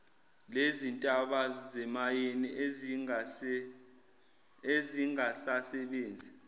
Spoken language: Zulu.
lezintaba zemayini ezingasasebenzi